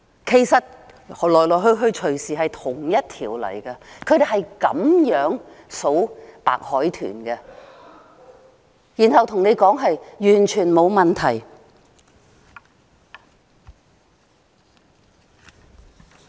其實來來去去隨時可能是同一條，他們是用這方法計算白海豚的數目，然後對我們說完全沒問題。